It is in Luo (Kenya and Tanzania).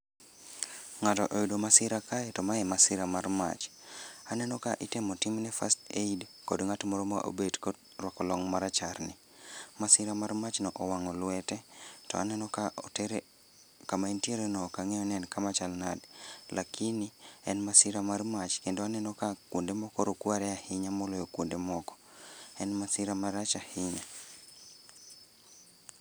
Ng'ato oyudo masira kae to ma masira mar mach. Haneno ka itemo timne first aid kod ng'at moro ma obet ko rwako long' marachar ni. Masira mar mach no owang'o lwete, to aneno ka otere, kama entiere no ok ang'eyo ni en kama chal nade, lakini en masira mar mach kendo aneno ka kwonde moko rokware ahinya moloyo kwonde moko. En masira marach ahinya